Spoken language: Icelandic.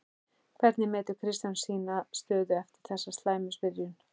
Hvernig metur Kristján sína stöðu eftir þessa slæmu byrjun?